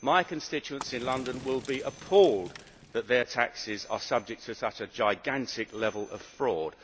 My constituency in London will be appalled that their taxes are subject to such a gigantic level of fraud.